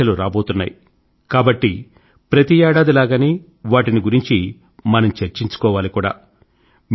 పరీక్షలు రాబోతున్నాయి కాబట్టి ప్రతి ఏడాది లాగానే వాటిని గురించి మనం చర్చించుకోవాలి కూడా